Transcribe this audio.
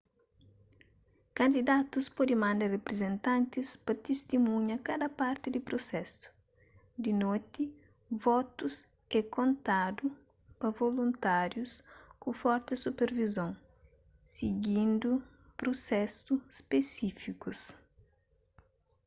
kandidatus pode manda riprizentantis pa tistimunha kada parti di prusesu di noti votus é kontadu pa voluntárius ku forti supervizon sigindu prusesu spesífikus